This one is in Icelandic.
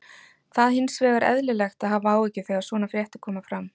það hins vegar eðlilegt að hafa áhyggjur þegar svona fréttir koma fram